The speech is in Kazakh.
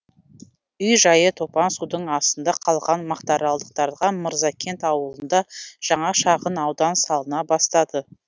үй жайы топан судың астында қалған мақтааралдықтарға мырзакент ауылында жаңа шағын аудан салына бастады